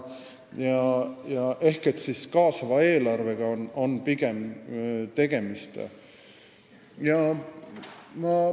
Pigem oleks tegemist kaasava eelarvega.